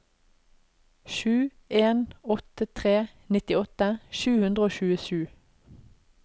sju en åtte tre nittiåtte sju hundre og tjuesju